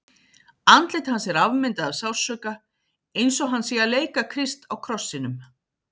Andlit hans er afmyndað af sársauka, eins og hann sé að leika Krist á krossinum.